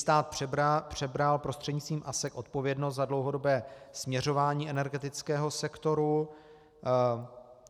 Stát přebral prostřednictvím ASEK odpovědnost za dlouhodobé směřování energetického sektoru.